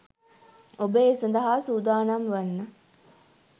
ඔබ ඒ සඳහා සූදානම් වන්න